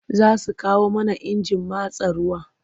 Za su kawo mana injin matsa ruwa.